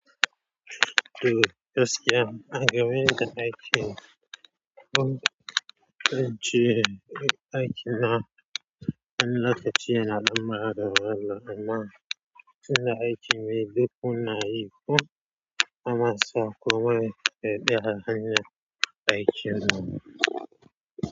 To, gaskiya, a game da aiki, kuma wajen cire aiki na, na lakacia almara da walle, amma suna aiki mai duk una yi kuma sakomai ka bi haranya aikin nan.